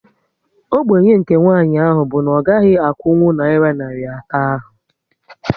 Ógbènye nke nwanyị ahụ bụ na ọ gaghị akwụnkwụ nayira narị atọ ahu